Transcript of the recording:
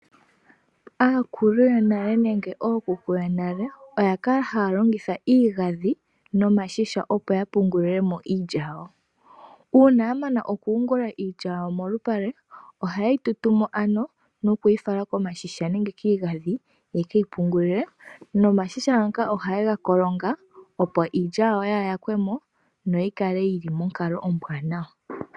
Aakulu yonale nenge ookuku yonale oya kala haya longitha iigadhi nomashisha opo yapungule mo iilya yawo. Uuna ya mana okuyungula iilya yawo molupale ohaye yi tutu mo ano, nokuyi fala komashisha nenge kiigadhi ye keyi pungule. Nomashisha ngaka ohaye ga kolonga opo iilya yawo yaa yakwe mo noyi kale yili monkalo ombwaanawa.